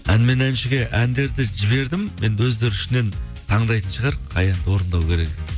ән мен әншіге әндерді жібердім енді өздері ішінен таңдайтын шығар қай әнді орындау керек екенін